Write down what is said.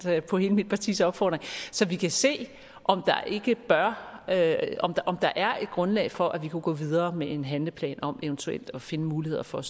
på hele mit partis opfordring så vi kan se om der er et grundlag for at vi kunne gå videre med en handleplan om eventuelt at finde muligheder for